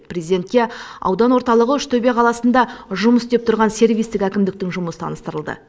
президентке аудан орталығы үштөбе қаласында жұмыс істеп тұрған сервистік әкімдіктің жұмысы таныстырылды